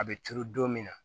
A bɛ turu don min na